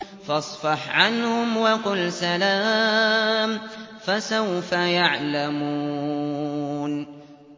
فَاصْفَحْ عَنْهُمْ وَقُلْ سَلَامٌ ۚ فَسَوْفَ يَعْلَمُونَ